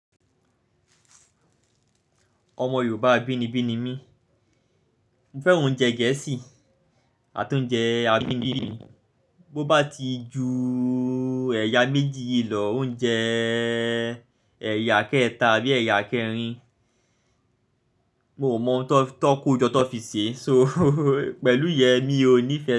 Ọmọ Yorùbá bí ni bí ni mí. Mo fẹ́ràn oúnjẹ Gẹ̀ẹ́sì àti oúnjẹ abínibí. Bo bá ti ju ẹ̀yà méjì yìí lọ, oúnjẹ ẹ̀yà akẹ́ẹ̀ta àbí akẹrin, mo mọ̀ ọ́n tan kójọ tan fi ṣe. So pẹ̀lú yẹ mí ò nífẹ̀ẹ́.